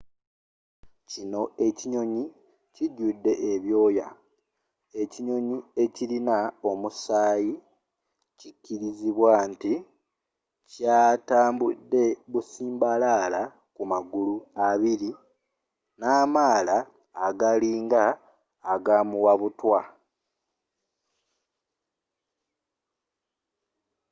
kino ekinyonyi ekijudde ebyooya ekinyonyi ekirina omusaayi kikirizibwa nti kyatambude busimbalaala ku magulu abiri namaala agalina agamuwabutwa